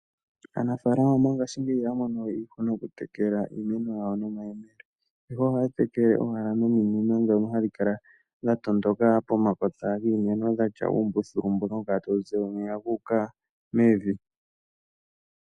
Aanafaalama mongashingeyi iyaha mono we iihuna okutekela iimeno yawo nomayemele ihe ohaya tekele owala nominino dhono hadhi kala dhatondoka pomakota giimeno dhatya uumbuthulo mbono hawu kala tawu zi omeya guuka mevi.